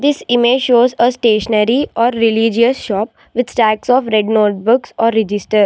This image shows a stationary or religious shop with tax of red notebooks or register.